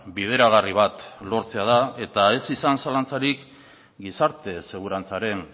bideragarri bat lortzea da eta ez izan zalantzarik gizarte segurantzaren